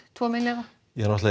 tveggja milljarða skuld